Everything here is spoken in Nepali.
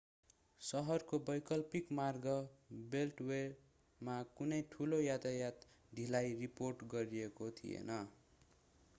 सहरको वैकल्पिक मार्ग बेल्टवेमा कुनै ठूलो यातायात ढिलाई रिपोर्ट गरिएको थिएन